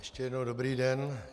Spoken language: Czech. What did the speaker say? Ještě jednou dobrý den.